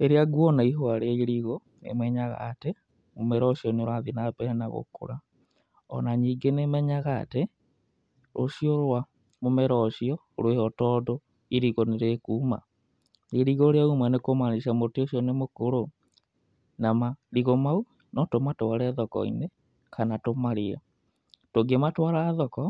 Rĩrĩa nguona ihũa rĩa irigũ, nĩmenyaga atĩ mũmera ũcio nĩ ũrathiĩ na mbere na gũkũra. Ona ningĩ nĩmenyaga atĩ rũciũ rwa mũmera ũcio rwĩho, tondũ irigũ nĩrĩkuma. Irigũ rĩauma nĩkũmanica mũtĩ ũcio nĩ mũkũrũ. Na marigũ mau no tũmatware thoko-inĩ kana tũmarĩe. Tũngĩmatwara thoko